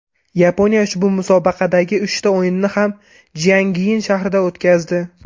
Yaponiya ushbu musobaqadagi uchta o‘yinni ham Jiangyin shahrida o‘tkazdi.